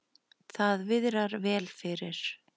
Það viðrar vel fyrir